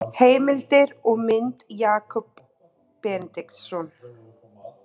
Heimildir og mynd Jakob Benediktsson.